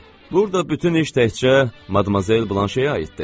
Burada bütün iş təkcə Madmazel Blanşeyə aiddir.